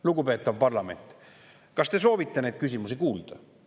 Lugupeetav parlament, kas te soovite neid küsimusi kuulda?